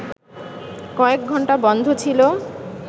কয়েক ঘন্টা বন্ধ ছিল